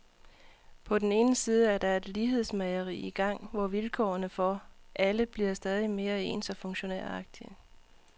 På den ene side er der et lighedsmageri i gang, hvor vilkårene for alle bliver stadig mere ens og funktionæragtige.